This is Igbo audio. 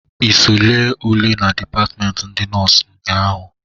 I so lee ule na dipatmenti ndị nọs nnyaa ahụ?